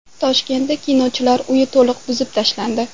Toshkentda Kinochilar uyi to‘liq buzib tashlandi .